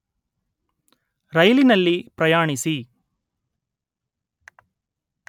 ರೈಲಿನಲ್ಲಿ ಪ್ರಯಾಣಿಸಿ